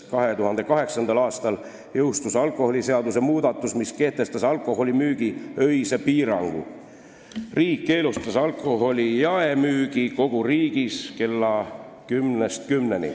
2008. aastal jõustus alkoholiseaduse muudatus, mis kehtestas alkoholi öösel müümisele piirangu: riik keelustas alkoholi jaemüügi kogu riigis õhtul kella kümnest hommikul kella kümneni.